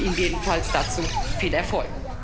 Ich wünsche ihm jedenfalls dazu viel Erfolg.